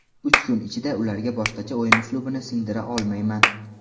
Uch kun ichida ularga boshqacha o‘yin uslubini singdira olmayman.